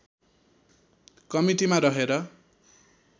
कमिटीमा रहेर